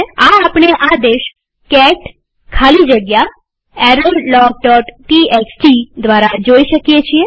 આ આપણે આ આદેશ કેટ ખાલી જગ્યા errorlogટીએક્સટી દ્વારા જોઈ શકીએ